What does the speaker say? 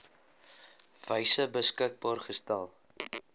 wyse beskikbaar gestel